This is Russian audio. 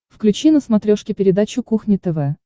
включи на смотрешке передачу кухня тв